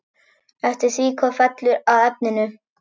Eftir því hvað fellur að efninu.